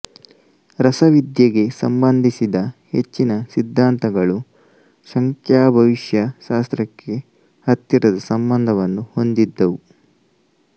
ರಸವಿದ್ಯೆಗೆ ಸಂಬಂಧಿಸಿದ ಹೆಚ್ಚಿನ ಸಿದ್ಧಾಂತಗಳು ಸಂಖ್ಯಾಭವಿಷ್ಯಶಾಸ್ತ್ರಕ್ಕೆ ಹತ್ತಿರದ ಸಂಬಂಧವನ್ನು ಹೊಂದಿದ್ದವು